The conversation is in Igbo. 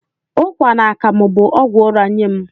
Ụkwa na akamu bụ ọgwụ ụra nye m